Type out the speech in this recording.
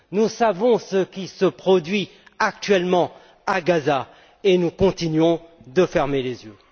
Nous savons ce qui se produit actuellement à Gaza et nous continuons de fermer les yeux.